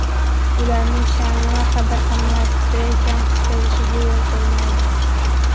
Ularning sha’ni va qadr-qimmati kamsitilishiga yo‘l qo‘ymaydi.